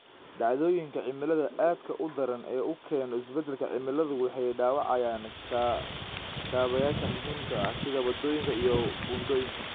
Dhacdooyinka cimilada aadka u daran ee uu keeno isbeddelka cimiladu waxay dhaawacayaan kaabayaasha muhiimka ah, sida waddooyinka iyo buundooyinka.